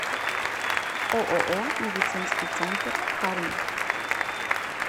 ооо медицинский центр кармель